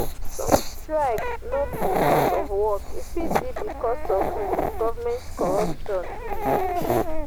some strike no be because of work e fit be because of um government corruption um